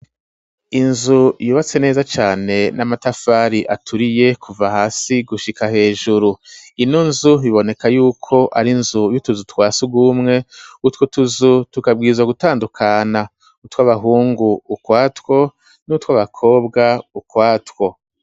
Inzu yubatse neza cane n'amatafari aturiye kuva hasi gushika hejuru. Ino nzu iboneka yuko ari inzu y'utuzu twa sugumwe, utwo tuzu tukabwiza gutandukana. Utw'abahungu ukwatwo nutw'abakobwa ukwatwo.